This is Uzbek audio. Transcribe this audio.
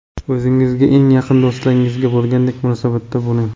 O‘zingizga eng yaqin do‘stingizga bo‘lgandek munosabatda bo‘ling.